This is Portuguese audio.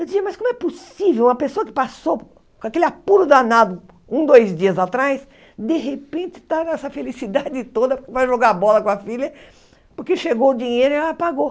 Eu dizia, mas como é possível uma pessoa que passou com aquele apuro danado um, dois dias atrás, de repente está nessa felicidade toda, vai jogar bola com a filha, porque chegou o dinheiro e ela pagou.